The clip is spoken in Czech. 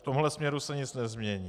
V tomhle směru se nic nezmění.